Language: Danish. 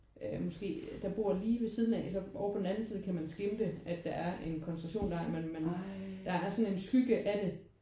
Øh måske der bor lige ved siden af og så over på den anden side kan man skimme at der er en koncentrationslejr men man der er sådan en skygge af det